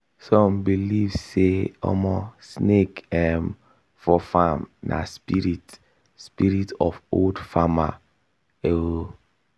some believe say omo snake um for farm na spirit spirit of old farmer oo.